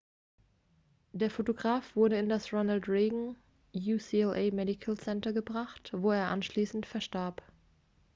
der fotograf wurde in das ronald reagan ucla medical center gebracht wo er anschließend verstarb